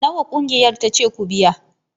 Nawa ƙungiyar ta ce ku biya